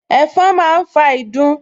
Ẹ̀fọn máa ń fa ìdun